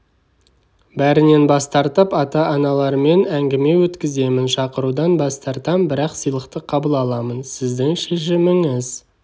бәрінен бас тартып ата-аналармен әңгіме өткіземін шақырудан бас тартам бірақ сыйлықты қабыл аламын сіздің шешіміңіз